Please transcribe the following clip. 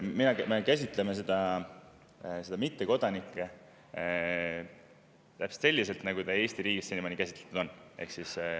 Me käsitleme mittekodanikke täpselt selliselt, nagu neid Eesti riigis senimaani käsitletud on.